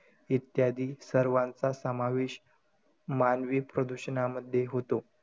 इत्यादी सर्वांचा समावेश मानवी प्रदूषणामध्ये होतो.